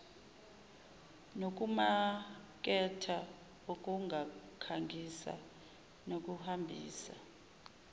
nokumaketha ukukhangisa nokuhambisa